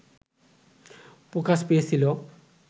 প্রকাশ পেয়েছিল